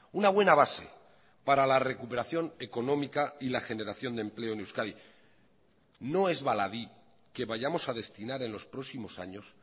una buena base para la recuperación económica y la generación de empleo en euskadi no es baladí que vayamos a destinar en los próximos años